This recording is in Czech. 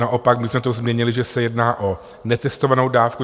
Naopak my jsme to změnili, že se jedná o netestovanou dávku.